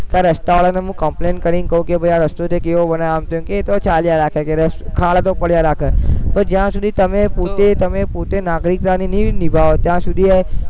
કે આ રસ્તામાં તમે complain કરીને કો કે તમે આ રસ્તો તે કેવો બનાયો આમ તેમ કે આતો ચાલ્યા રાખે કે ખાડો તો પડ્યા રાખે પણ જ્યાં સુધી તમે પોતે તમે પોતે નાગરિકતાની નહીં નિભાવો ત્યાં સુધી આ